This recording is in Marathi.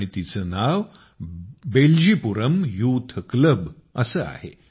आणि तिचं नाव बेल्जीपुरम यूथक्लब असं आहे